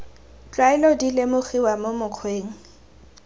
tlwaelo di lemogiwa mo mokgweng